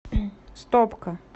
стопка